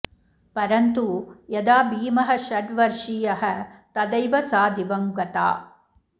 परन्तु यदा भीमः षड्वर्षीयः तदैव सा दिवं गता